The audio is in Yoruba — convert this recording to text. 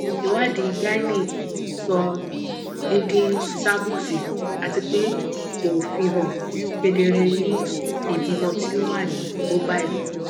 iwadi gyne sọ deede cervix atipe ko fihan kedere ni ibimọ ti o wa ni mobile